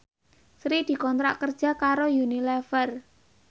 Sri dikontrak kerja karo Unilever